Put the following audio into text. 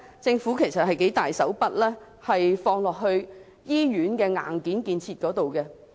政府其實投放了很多金錢在醫院的硬件建設上。